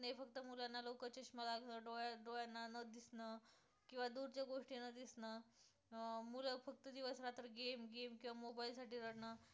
दिसणं किंवा दूरच्या गोष्टी नं दिसणं, अं मुलं फक्त दिवस रात्र game game किंवा mobile साठी रडणं